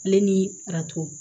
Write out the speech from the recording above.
Ale ni arato